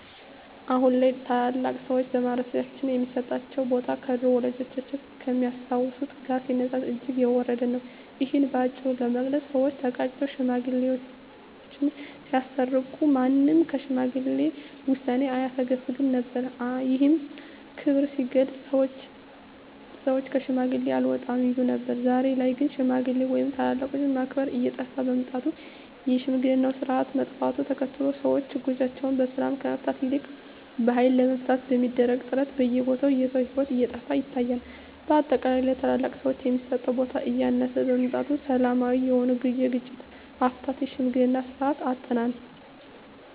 አሁን ላይ ታላላቅ ሰዎች በማህበረሰባችን ሚሰጣቸው ቦታ ከድሮው ወላጆቻችን ከሚያስታውሱት ጋር ሲነጻጸር እጅግ የወረደ ነው። እሂን በአጭሩ ለመግለጽ ሰወች ተጋጭተው ሽማግሌወች ሲያስታርቁ ማንም ከሽማግሌ ውሳኔ አያፈገፍግም ነበር። ይህም ክብር ሲገለጽ ሰወች ከሽማግሌ አልወጣም ይሉ ነበር። ዛሬ ላይ ግን ሽማግሌ ወይም ታላላቆችን ማክበር እየጠፋ በመምጣቱ የሽምግልናው ስርአት መጥፋቱን ተከትሎ ሰወች ችግሮቻቸውን በሰላም ከመፍታት ይልቅ በሀይል ለመፍታት በሚደረግ ጥረት በየቦታው የሰው ሂወት እየጠፋ ይታያል። በአጠቃላይ ለታላላቅ ሰወች የሚሰጠው ቦታ እያነሰ በመምጣቱ ሰላማዊ የሆነውን የግጭት አፈታት የሽምግልናን ስርአት አጠናል።